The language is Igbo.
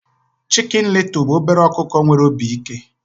Chicken Little bụ obere ọkụkọ nwere obi ike